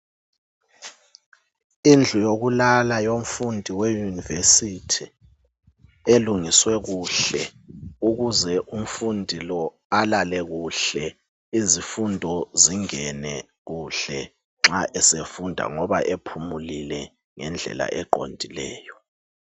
Indlu yokulala yomfundi we university, elungiswe kuhle ukuze umfundi lo alale kuhle izifundo zingene kuhle nxa esefunda ngoba ephumulile ngendlela eqondileyo